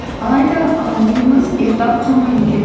алайда і миымыз ұйықтап қалмайды екен